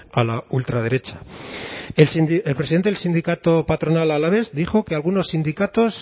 a la ultraderecha el presidente del sindicato patronal alavés dijo que algunos sindicatos